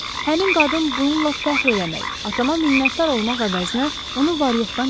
Həmin qadın bununla fəxr eləmək, atama minnətdar olmaq əvəzinə onu var-yoxdan çıxarıb.